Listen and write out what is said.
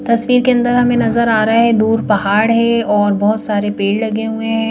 तस्वीर के अंदर हमें नजर आ रहे हैं दूर पहाड़ है और बहुत सारे पेड़ लगे हुए हैं।